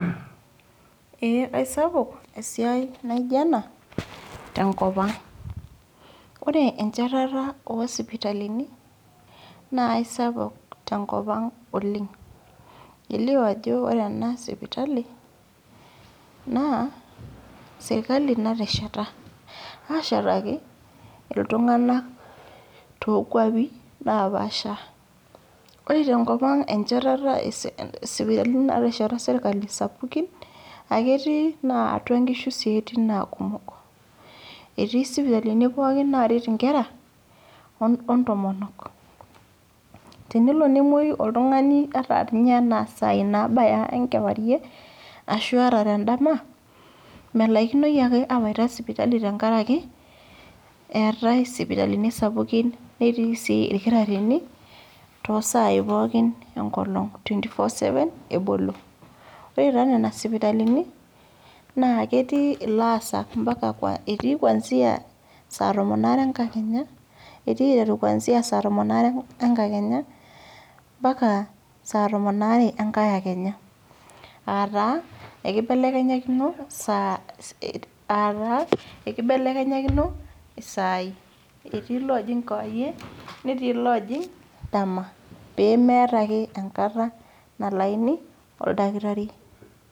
Ee sapuk esiai naijo ena tenkop ang'. Ore enchetata oo isipitalini te enkop ang' naa ai sapuk oleng'. Elio ajo ore ena sipitali, naa serkali natesheta, ashetaki iltung'anak too inkwapi napaasha. Ore tenkop ang' enchetata natesheta serkali isipitali sapukin, ai ketii naa atua inkishu naa etii naa kumok, etiii isipitalini pookin naaret inkera, o intomonok. Tenelo nemwoiyu oltang'ani ata too isaii naabaya enkewarie, ashu ata te endama, melaikino ake awaita sipitali enkaraki, eatai isipitalini sapukin, netii sii ilkitarini too isaai pookin enkolong', twenty four- seven ebolo. Ore taa nena sipitalini, naa ketii ilaasak, etii kwaanzia saai entomon are entadekenya, ompaka saa tomon aare enkai kakenya, aa taa eikebelekenyakino isaai, etii loojing' kewarie, netii loojing' dama, pee meatai ake enkata nalayuni oldakitari.